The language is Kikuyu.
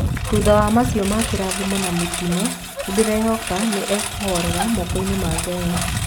Thutha wa maica ma kĩrathimo na mĩtino, nĩndĩraehoka nĩ ekũhorera mokoinĩ ma Ngai